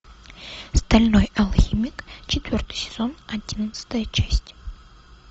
стальной алхимик четвертый сезон одиннадцатая часть